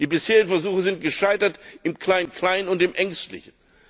Die bisherigen Versuche sind gescheitert im Klein Klein und im Ängstlichen.